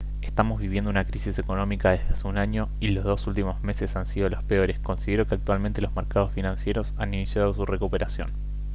estamos viviendo una crisis económica desde hace un año y los dos últimos meses han sido los peores. considero que actualmente los mercados financieros han iniciado su recuperación»